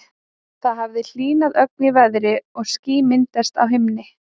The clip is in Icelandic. Það hafði hlýnað ögn í veðri og ský myndast á himni.